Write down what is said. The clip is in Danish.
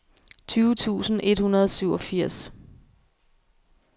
tyve tusind et hundrede og syvogfirs